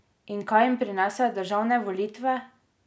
In kaj jim prinesejo državne volitve?